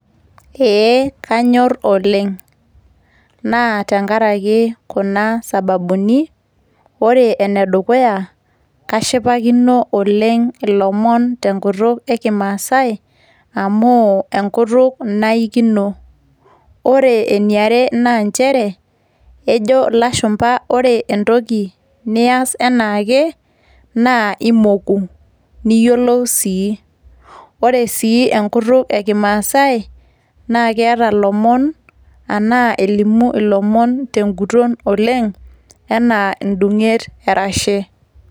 Ee kanyor oleng'. Na tenkaraki kuna sababuni; ore enedukuya, kashipakino oleng' ilomon tenkutuk ekimaasai amu enkutuk naikino. Ore eniare, na njere ejo ilashumpa ore entoki nias enaake, na imoku. Niyiolou si. Ore si enkutuk ekimaasai, na ketaa ilomon enaa elimu ilomon teguton oleng' enaa edung'et erashe.